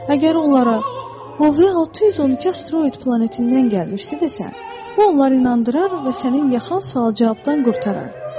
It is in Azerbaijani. Əgər onlara O 612 asteroid planetindən gəlmişdi desən, bu onları inandırar və sənin yaxa sual-cavabdan qurtarar.